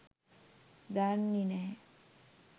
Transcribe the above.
දන්නෙ නැහැ